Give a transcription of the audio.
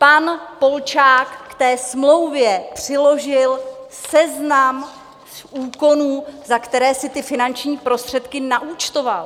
Pan Polčák k té smlouvě přiložil seznam úkonů, za které si ty finanční prostředky naúčtoval.